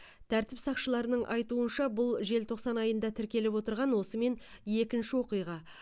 тәртіп сақшыларының айтуынша бұл желтоқсан айында тіркеліп отырған осымен екінші оқиға